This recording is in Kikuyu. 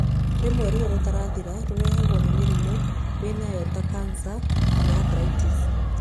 Rĩmwe ruo rũtarathira rũrehagwo nĩ mĩrimũ wĩnayo ta kanca kana arthritis.